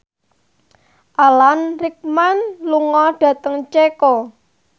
Alan Rickman lunga dhateng Ceko